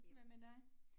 Hvad med dig?